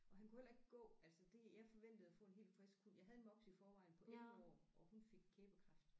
Og han kunne heller ikke gå altså det jeg forventede at få en helt frisk hund jeg havde en mops i forvejen på 1 år og hun fik kæbekræft